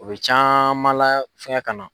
U bɛ caman la fɛngɛ ka na.